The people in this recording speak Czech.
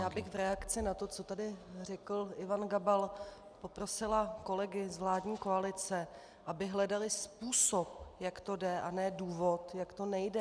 Já bych v reakci na to, co tady řekl Ivan Gabal, poprosila kolegy z vládní koalice, aby hledali způsob, jak to jde, a ne důvod, jak to nejde.